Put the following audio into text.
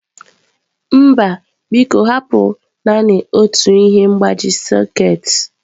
Mba biko hapụ naanị otu ihe mgbaji sekit.